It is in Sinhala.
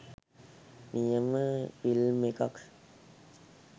නියම ෆිලම් එකක්.